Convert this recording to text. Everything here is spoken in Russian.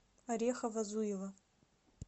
орехово зуево